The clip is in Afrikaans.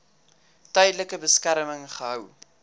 tydelike beskerming gehou